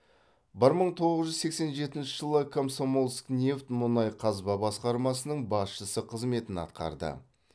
бір мың тоғыз жүз сексен жетінші жылы комсомольскнефть мұнай қазба басқармасының басшысы қызметін атқарды